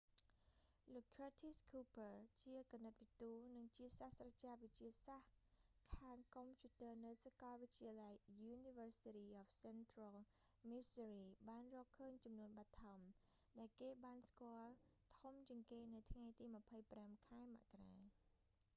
លោក curtis cooper ឃើរធីស ឃូភើ ជាគណិតវិទូ និងជាសាស្ត្រាចារ្យវិទ្យាសាស្ត្រខាងកុំព្យូទ័រនៅសាកលវិទ្យាល័យ university of central missouri បានរកឃើញចំនួនបឋម ដែលគេបានស្គាល់ធំជាងគេ នៅថ្ងៃទី 25 ខែមករា